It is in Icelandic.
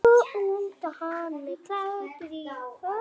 Hann var klæddur hökli.